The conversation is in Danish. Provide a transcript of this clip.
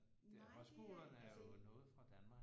Nej det altså